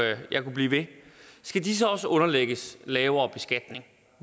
jeg kunne blive ved skal de så også underlægges lavere beskatning